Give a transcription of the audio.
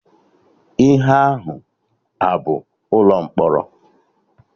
Ihe ahụ a bụ ụlọ mkpọrọ?